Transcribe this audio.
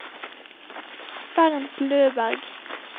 Bernt Løberg